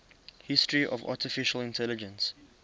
history of artificial intelligence